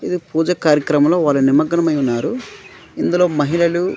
ఇది పూజ కార్యక్రమంలో వారి నిమగ్నమై ఉన్నారు ఇందులో మహిళలు--